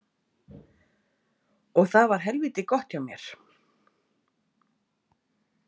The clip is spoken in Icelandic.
Og það var helvíti gott hjá mér.